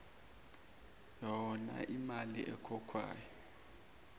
hona iimali ekhokhwayo